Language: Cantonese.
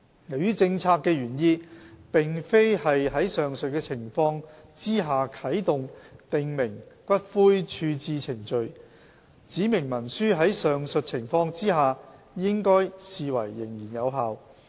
由於政策的原意並非是在上述情況下啟動訂明骨灰處置程序，指明文書在上述情況下應視為仍然有效。